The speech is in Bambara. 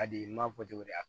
A di n m'a fɔ cogo di yan